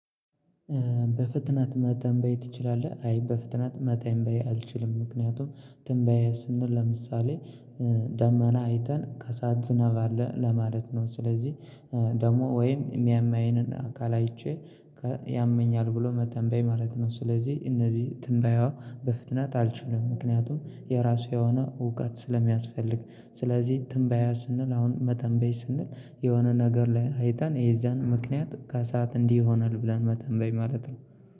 በፍጥነት መተንበይ ትችላለህ? አይ በፍጥነት መተንበይ አልችልም። ምክንያቱም ትንበይ ስንል ለምሳሌ ደመና አይተን ከሰአት ዝናብ አለ ለማለት ነው። ስለዚህ ደግሞ ወይም የሚያመኝን አካል አይቼ ያመኛል ብሎ መተንበይ ማለት ነው። ስለዚህ እነዚህ ትንበያዋ በፍጥነት አልችልም ምክንያቱም የራሱ የሆነ እውቀት ስለሚያስፈልግ። ስለዚህ ትንበያ ስንል አሁን መተንበይ ስንል የሆነ ነገር ላይ አይተን የዛን ምክንያት ከሰአት እንዲህ ይሆናል ብለን መተንበይ ማለት ነው